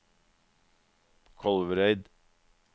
Kolvereid